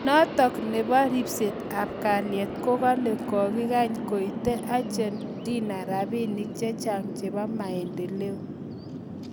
Notok nebo ripset ap kaliet kokale kikokany koetee Argentina rabinik chechang chebo maendeleo